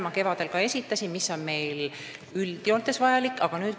Ma esitasin kevadel selle info, mida meile üldjoontes vaja on.